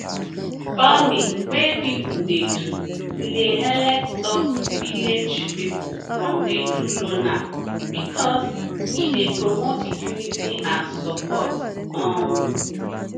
farming wey pipo dey do e dey helep stop village pipo from dey do loner because e dey promote unity and support um